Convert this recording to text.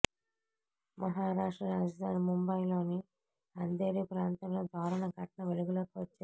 మహారాష్ట్ర రాజధాని ముంబయిలోని అంధేరి ప్రాంతంలో దారుణ ఘటన వెలుగులోకి వచ్చింది